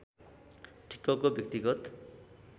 ठिक्कको व्यक्तिगत